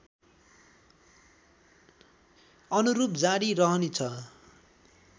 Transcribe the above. अनुरूप जारी रहनेछ